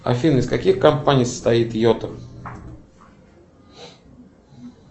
афина из каких компаний состоит йота